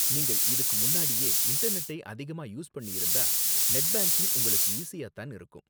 நீங்கள் இதுக்கு முன்னாடியே இன்டர்நெட்டை அதிகமா யூஸ் பண்ணியிருந்தா, நெட் பேங்கிங் உங்களுக்கு ஈஸியா தான் இருக்கும்.